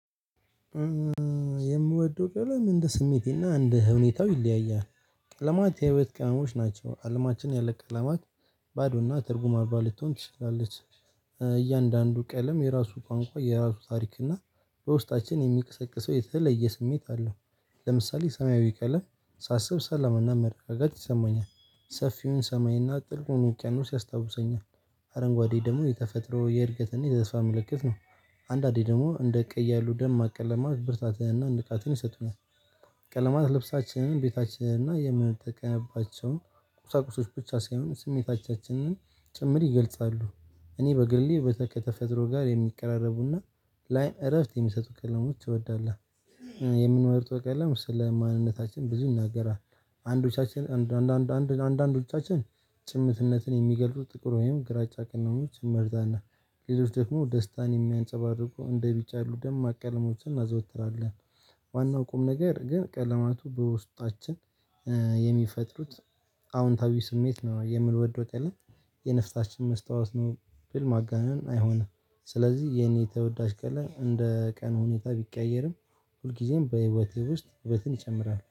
የምወደው ቀለም እንደ ስሜቴና እንደ ሁኔታው ይለያያል ቀለማት የህይወት ቅመሞች ናቸው አለማችን ያለ ቀለማት ባዶና ትርጉም አባ ልትሆን ትችላለች። እያንዳንዱ ቀለም የራሱ ቋንቋ የራሱ ታሪክ እና በውስጣችን የሚያቀሰቅሰው የተለየ ስሜት አለው። ለምሳሌ ሰማያዊ ቀለም ሳስብ ሰላምና ምርር ጋት ይሰማኛል ሰፊውን ሰማይና ጥልቁን ውቂያኖስ ያስታውሰኛል። አረንጓዴ ደግሞ የተፈጥሮ የእድገትና የተስፋ ምልክት ነው። አንዳንዴ ደግሞ እንደ ቀይ ያሉ ደማቅ ቀለማት ብርታትንና ንቃትን ይሰጡናል። ቀለማት ልብሳችንን ቤታችንና የምንጠቀማባቸውን ቁሳቁስ ብቻ ሳይሆን ስሜቶቻችንን ጭምር ይገልጻሉ እኔ በግሌ ከተፈጥሮ ጋር የሚቀራረቡና ላይን እረፍት የሚሰጡ ቀለሞች እወዳለሁ። የምንመርጠው ቀለም ስለ ማንነታችን ብዙ ይናገራል። አንዳንዶቻችን ጭምትነትን የሚገልጹ ጥቁር ወይም ግራጫ ቀለሞች እንመርጣለን። ሎሎች ደግሞ ደስታን የሚያንፀባርቁ እንደ ቢጫ ያሉ ደማቅ ማቀለሞችን እናዘወትራለን። ዋናው ቁም ነገር ግን ቀለማቱ በውስጣችን የሚፈጥሩት አዎንታዊ ስሜት ነው የምንወደው ቀለም የነፍሳችን መስታወት ነው ብል ማጋነን አይሆንም። ስለዚህ የኔ ተወዳጅ ቀለም እንደ ቀኑ ሁኔታ ቢቀያየርም ሁልጊዜም በህይወቴ ውስጥ ህይወትን ይጨምራል